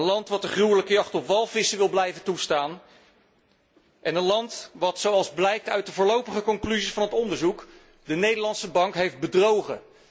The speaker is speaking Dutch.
Een land dat de gruwelijke jacht op walvissen wil blijven toestaan en een land dat volgens de voorlopige conclusies van het onderzoek de Nederlandse Bank heeft bedrogen.